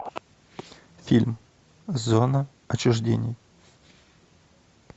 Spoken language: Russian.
фильм зона отчуждения